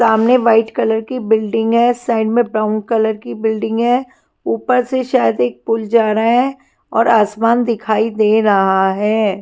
सामने white colour की building है साइड में ब्राउन कलर की बिल्डिंग है ऊपर से शायद एक पुल जा रहा है और आसमान दिखाई दे रहा है।